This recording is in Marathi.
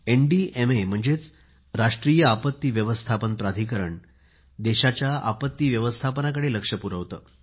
एनडीएमए म्हणजेच राष्ट्रीय आपत्ती व्यवस्थापन प्राधिकरण देशाच्या आपत्ती व्यवस्थापनेकडे लक्ष पुरवते